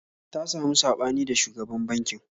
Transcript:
Ta samu saɓani da shugaban bankin